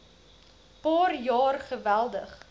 paar jaar geweldig